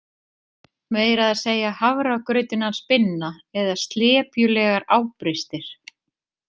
Meira að segja hafragrautinn hans Binna eða slepjulegar ábrystir